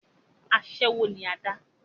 asẹ́wó ni adá